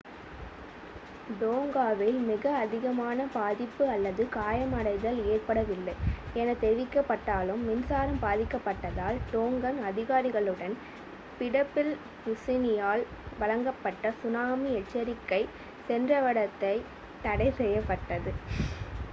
டோங்காவில் மிக அதிகமான பாதிப்பு அல்லது காயமடைதல் ஏற்படவில்லை என தெரிவிக்கப்பட்டாலும் மின்சாரம் பாதிக்கப்பட்டதால் டோங்கன் அதிகாரிகளுக்கு பிடிடபிள்யூசியினால் வழங்கப்பட்ட சுனாமி எச்சரிக்கை சென்றடைவதில் தடை ஏற்பட்டது